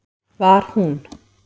Var hún